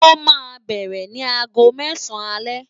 Ó ma bẹ̀rẹ̀ ni aago mẹ́sàn-án alẹ́